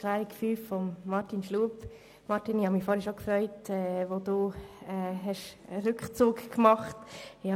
Grossrat Schlup, ich hatte mich zuvor schon gefreut, als Sie einen Rückzug gemacht haben.